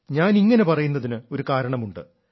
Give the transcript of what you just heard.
ഞാനിങ്ങനെ പറയുന്നതിന് ഒരു കാരണമുണ്ട്